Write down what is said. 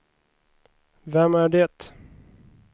vem är det